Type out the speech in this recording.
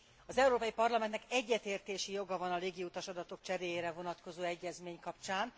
Az Európai Parlamentnek egyetértési joga van a légiutas adatok cseréjére vonatkozó egyezmény kapcsán.